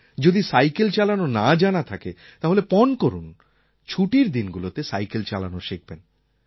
যদি সাইকেল চালানো না জানা থাকে তাহলে পণ করুন ছুটির দিনগুলোতে সাইকেল চালানো শিখবেন